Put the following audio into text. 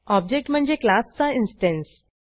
object म्हणजे class चा instance